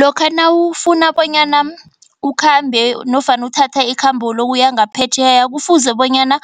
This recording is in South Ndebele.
Lokha nawufuna bonyana, ukhambe nofana uthatha ikhambo lokuya ngaphetjheya. Kufuze bonyana